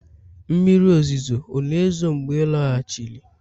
mmiri ozuzo ọ̀ na-ezo mgbe ị lọghachiri?